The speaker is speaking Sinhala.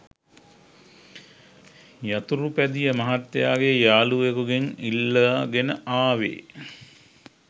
යතුරුපැදිය මහත්තයාගේ යාළුවකුගෙන් ඉල්ලාගෙන ආවේ.